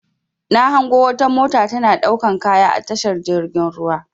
Na hango wata mota tana ɗaukan kaya a tashar jirgin ruwa.